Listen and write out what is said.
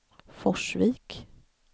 Forsvik